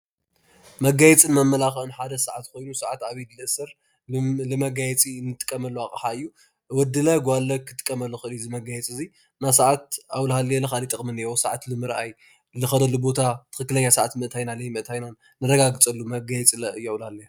መጋየፅን መመላክዕን ሓደ ሰዓት ኮይኑ ሰዓት ኣብ ኢድ ዝእሰር ንመጋየፂ ንጥቀመሉ ኣቕሓ እዩ፡፡ ወድለ ጓልለ ክጥቀመሉ ይኽእል እዩ እዚ መጋየፂ እዚ፡፡ ናይ ሰዓት ኣብኡ ላሃለየ ለ ካልአ ጥቕሚ እኒአዎ፡፡ ሰዓት ንምርኣይ፣ ንኸደሉ ቦታ ትኽኽለኛ ሰዓት ምእታይናን ለይምእታይናን ነረጋግፀሉ መጋየፂ እዩ ለ ኣብኡ እናሃለየ፡፡